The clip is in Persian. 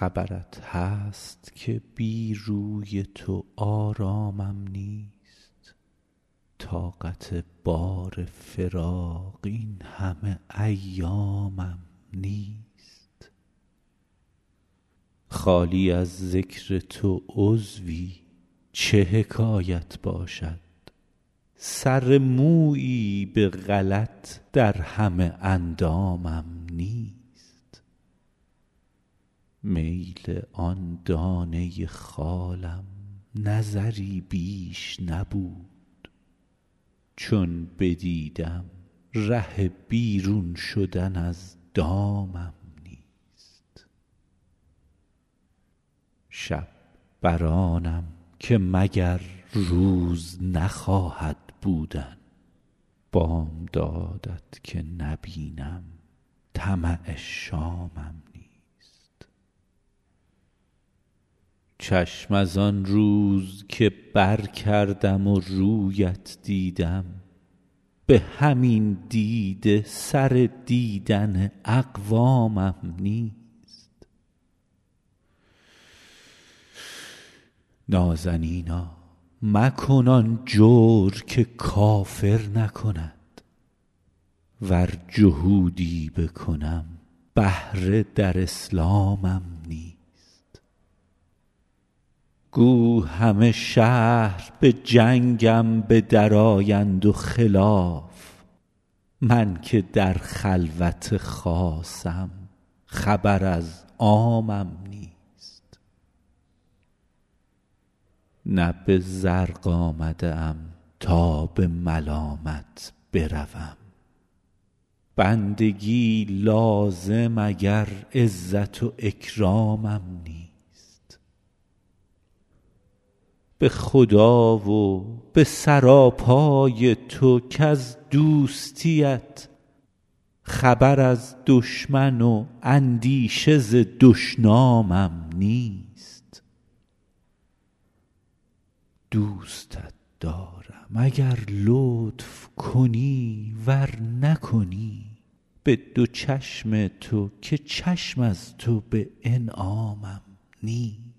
خبرت هست که بی روی تو آرامم نیست طاقت بار فراق این همه ایامم نیست خالی از ذکر تو عضوی چه حکایت باشد سر مویی به غلط در همه اندامم نیست میل آن دانه خالم نظری بیش نبود چون بدیدم ره بیرون شدن از دامم نیست شب بر آنم که مگر روز نخواهد بودن بامداد ت که نبینم طمع شامم نیست چشم از آن روز که برکردم و روی ات دیدم به همین دیده سر دیدن اقوامم نیست نازنینا مکن آن جور که کافر نکند ور جهودی بکنم بهره در اسلامم نیست گو همه شهر به جنگم به درآیند و خلاف من که در خلوت خاصم خبر از عامم نیست نه به زرق آمده ام تا به ملامت بروم بندگی لازم اگر عزت و اکرامم نیست به خدا و به سراپای تو کز دوستی ات خبر از دشمن و اندیشه ز دشنامم نیست دوستت دارم اگر لطف کنی ور نکنی به دو چشم تو که چشم از تو به انعامم نیست